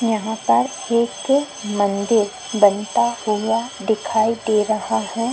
यहाँं पर एक मंदिर बनता हुआ दिखाई दे रहा है।